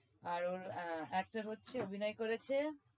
আর ওর আহ actor হচ্ছে অভিনয় করেছে